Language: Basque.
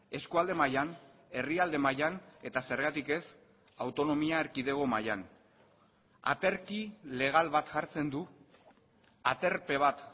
eskualde mailan herrialde mailan eta zergatik ez autonomia erkidego mailan aterki legal bat jartzen du aterpe bat